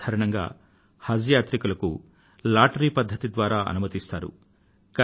సాధారణంగా హజ్ యాత్రికులకు లాటరీ పద్ధతి ద్వారా అనుమతిని ఇస్తారు